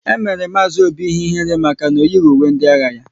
E mere Mazi Obi ihe ihere maka na o yighi uwe ndị agha ya